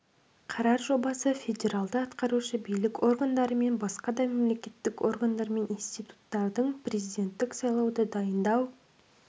қарар жобасы федералды атқарушы билік органдары мен басқа да мемлекеттік органдар мен институттардың президенттік сайлауды дайындау